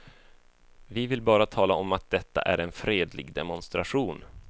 Vi vill bara tala om att detta är en fredlig demonstration.